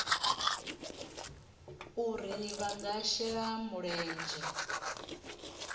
uri vha nga shela mulenzhe